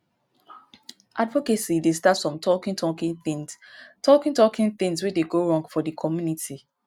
advocacy dey start from talking talking things talking talking things wey dey go wrong for di community